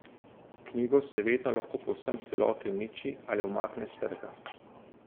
Knjigo se vedno lahko povsem v celoti uniči ali umakne s trga.